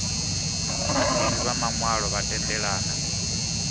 vhaḓivhi vha maṅwalo vha tendelana